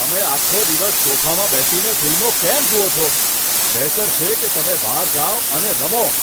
તમે આખો દિવસ સોફામાં બેસીને ફિલ્મો કેમ જુઓ છો? બહેતર છે કે તમે બહાર જાઓ અને રમો!